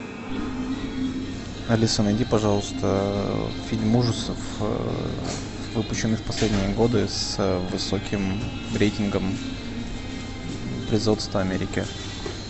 алиса найди пожалуйста фильм ужасов выпущенный в последние годы с высоким рейтингом производства америки